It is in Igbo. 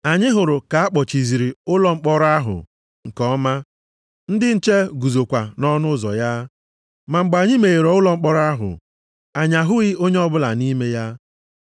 “Anyị hụrụ ka a kpọchiziri ụlọ mkpọrọ ahụ nke ọma, ndị nche guzokwa nʼọnụ ụzọ ya. Ma mgbe anyị meghere ụlọ mkpọrọ ahụ, anyị ahụghị onye ọbụla nʼime ya.”